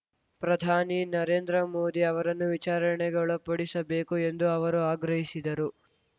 ಪ್ರಧಾನಿ ನರೇಂದ್ರ ಮೋದಿ ಅವರನ್ನು ವಿಚಾರಣೆಗೆ ಒಳಪಡಿಸಬೇಕು ಎಂದು ಅವರು ಆಗ್ರಹಿಸಿದರು